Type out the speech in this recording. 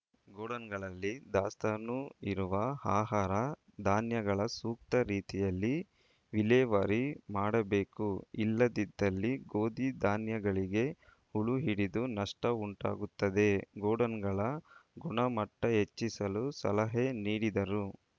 ಗೋಡಾನ್‌ಗಳಲ್ಲಿ ದಾಸ್ತಾನು ಇರುವ ಆಹಾರ ಧಾನ್ಯಗಳ ಸೂಕ್ತ ರೀತಿಯಲ್ಲಿ ವಿಲೇವಾರಿ ಮಾಡಬೇಕು ಇಲ್ಲದಿದ್ದಲ್ಲಿ ಗೋಧಿ ಧಾನ್ಯಗಳಿಗೆ ಹುಳು ಹಿಡಿದು ನಷ್ಟಉಂಟಾಗುತ್ತದೆ ಗೋಡಾನ್‌ಗಳ ಗುಣಮಟ್ಟಹೆಚ್ಚಿಸಲು ಸಲಹೆ ನೀಡಿದರು